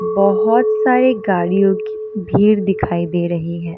बहोत सारी गाड़ियों की भीड़ दिखाई दे रही है।